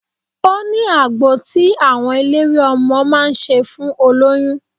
Ó ní agbo tí àwọn eléwé ọmọ máa ń ṣe fún olóyún.